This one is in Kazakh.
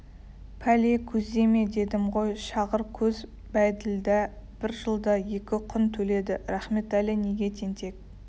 пәле көзде ме дедім ғой шағыр көз бәйділда бір жылда екі құн төледі рахметәлі неге тентек